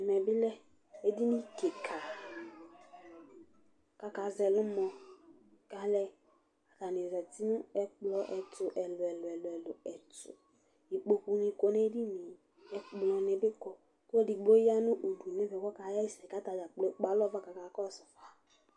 ɛmɛ bi lɛ edini keka k'aka zɛ ɛlumɔ k'alɛ atani zati no ɛkplɔ ɛto ɛlò ɛlò ɛlò ɛto ikpoku ni kɔ n'edini yɛ ɛkplɔ ni bi kɔ k'ɔlò edigbo ya no udu n'ɛfɛ k'ɔka ɣa ɛsɛ k'atadza kplo ekpe alɔ fa k'aka kɔsu fa